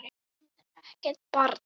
Hún er ekkert barn.